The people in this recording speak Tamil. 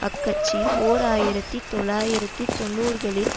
அக்கட்சி ஓர் ஆயிரத்தி தொள்ளாயிரத்தி தொன்னூறுகளில்